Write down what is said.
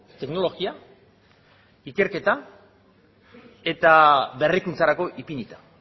teknologia ikerketa eta berrikuntzarako ipinita